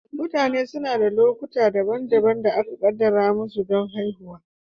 Mutane suna da lokuta daban-daban da aka kaddara musu don haihuwa.